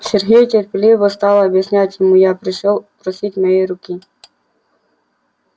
сергей терпеливо стала объяснять ему я пришёл просить моей руки